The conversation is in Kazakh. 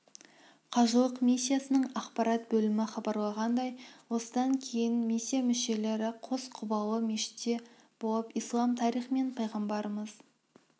қажылық миссиясының ақпарат бөлімі хабарлағандай осыдан кейін миссия мүшелері қос құбылалы мешітте болып ислам тарихымен пайғамбарымыз